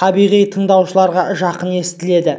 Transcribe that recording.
табиғи тыңдаушыға жақын естіледі